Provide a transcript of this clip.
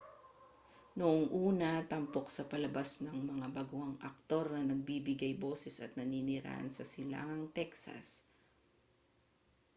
noong una tampok sa palabas ang mga baguhang aktor na nagbibigay boses at naninirahan sa silangang texas